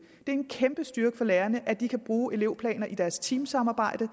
er en kæmpe styrke for lærerne at de kan bruge elevplaner i deres teamsamarbejde og